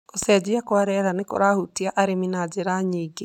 Gũcenjia kwa rĩera nĩ kũrahutia ũrĩmi na njĩra nyingĩ